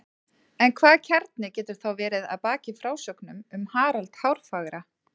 en hvaða kjarni getur þá verið að baki frásögnum um harald hárfagra